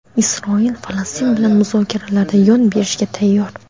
Isroil Falastin bilan muzokaralarda yon berishga tayyor.